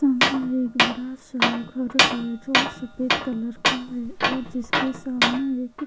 सामने एक बड़ा सा घर है जो सफ़ेद कलर का है और जिसके सामने एक --